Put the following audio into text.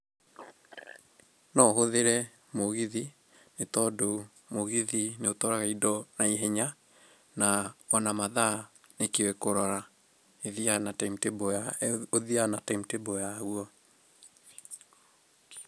No ũhũthĩre mũgithi, nĩ tondũ mũgithi nĩ ũtwaraga indo na ihenya, na ona mathaa nĩĩkĩũĩ kũrora, ũthiaga na timetable yagwo.